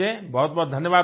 बहुतबहुत धन्यवाद भईया